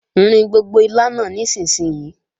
Rin gbogbo ilá náà nísinsìnyí!